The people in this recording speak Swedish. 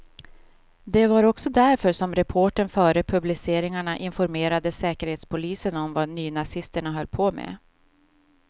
Det var också därför som reportern före publiceringarna informerade säkerhetspolisen om vad nynazisterna höll på med.